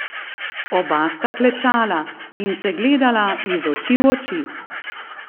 Oba sta klečala in se gledala iz oči v oči.